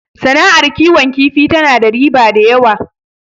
Sana'ar kiwon kifi tana da riba da yawa